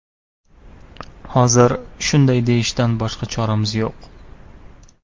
Hozir shunday deyishdan boshqa choramiz yo‘q.